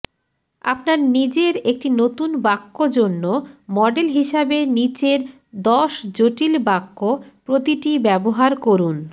আপনার নিজের একটি নতুন বাক্য জন্য মডেল হিসাবে নীচের দশ জটিল বাক্য প্রতিটি ব্যবহার করুন